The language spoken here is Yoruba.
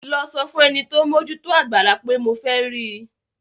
Lọ sọ fún ẹni tí ó ń mójú tó àgbàlá pé mo fẹ́ rí i.